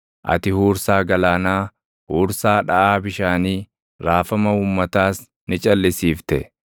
ati huursaa galaanaa, huursaa dhaʼaa bishaanii, raafama uummataas ni calʼisiifte.